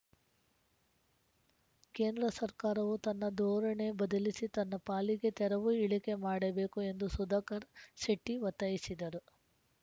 ಕೇಂದ್ರ ಸರ್ಕಾರವೂ ತನ್ನ ಧೋರಣೆ ಬದಲಿಸಿ ತನ್ನ ಪಾಲಿಗೆ ತೆರಿವು ಇಳಿಕೆ ಮಾಡಬೇಕು ಎಂದು ಸುಧಾಕರ್‌ ಶೆಟ್ಟಿಒತ್ತಾಯಿಸಿದರು